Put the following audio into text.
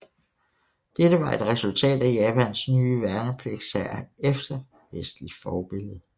Dette var et resultat af Japans nye værnepligtshær efter vestligt forbillede